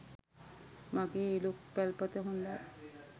මගේ ඉළුක් පැල්පත හොඳයි.